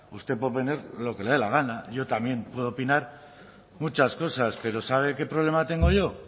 usted puede opinar lo que le dé la gana yo también puedo opinar muchas cosas pero sabe qué problema tengo yo